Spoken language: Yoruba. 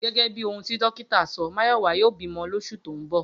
Gé̩gé̩ bí ohun tí dókítà so̩, Máyò̩wá yóò bímo̩ lós̩ù tó ń bò